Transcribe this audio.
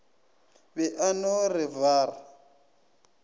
be a no re waar